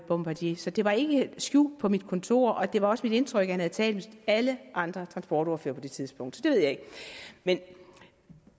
bombardier så det var ikke skjult på mit kontor og det var også mit indtryk at han havde talt alle andre transportordførere på det tidspunkt så det ved jeg ikke men